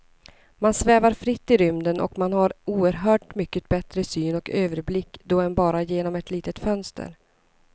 Man svävar fritt i rymden och man har oerhört mycket bättre syn och överblick då än bara genom ett litet fönster.